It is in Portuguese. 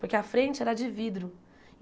Porque a frente era de vidro.